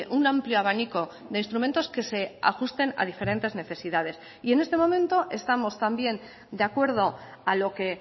un amplio abanico de instrumentos que se ajusten a diferentes necesidades y en este momento estamos también de acuerdo a lo que